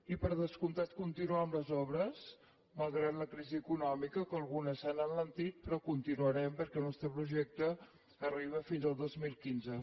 i per descomptat continuar amb les obres malgrat la crisi econòmica que algunes s’han alentit però continuarem perquè el nostre projecte arriba fins al dos mil quinze